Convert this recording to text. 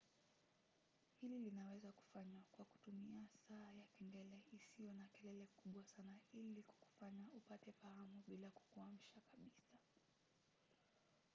hili linaweza kufanywa kwa kutumia saa ya kengele isiyo na kelele kubwa sana ili kukufanya upate fahamu bila kukuamsha kabisa